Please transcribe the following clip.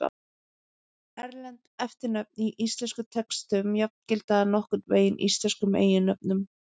Erlend eftirnöfn í íslenskum textum jafngilda nokkurn veginn íslenskum eiginnöfnum.